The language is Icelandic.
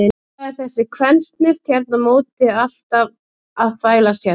Hvað er þessi kvensnift hérna á móti alltaf að þvælast hérna?